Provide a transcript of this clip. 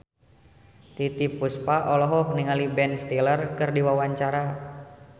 Titiek Puspa olohok ningali Ben Stiller keur diwawancara